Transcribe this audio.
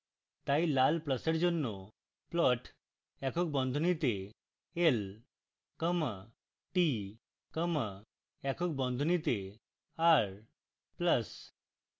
তাই লাল pluses জন্য plot একক বন্ধনীতে l comma t comma একক বন্ধনীতে r plus